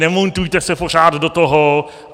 Nemontujte se pořád do toho.